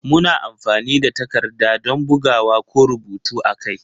Muna amfani da takarda don bugawa ko rubutu a kai.